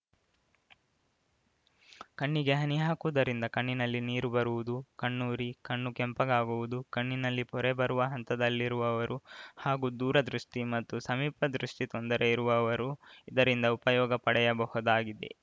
ಕಣ್ಣಿಗೆ ಹನಿ ಹಾಕುವುದರಿಂದ ಕಣ್ಣಿನಲ್ಲಿ ನೀರು ಬರುವುದು ಕಣ್ಣು ಉರಿ ಕಣ್ಣು ಕೆಂಪಗಾಗುವುದು ಕಣ್ಣಿನಲ್ಲಿ ಪೊರೆ ಬರುವ ಹಂತದಲ್ಲಿರುವವರು ಹಾಗೂ ದೂರದೃಷ್ಟಿಮತ್ತು ಸಮೀಪ ದೃಷ್ಟಿತೊಂದರೆ ಇರುವವರು ಇದರಿಂದ ಉಪಯೋಗ ಪಡೆಯಬಹುದಾಗಿದೆ